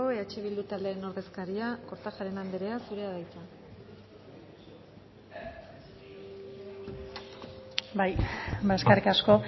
eh bildu taldearen ordezkaria kortajarena andrea zurea da hitza bai ba eskerrik asko